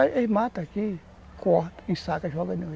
Aí mata aqui, corta, ensaca, joga ali.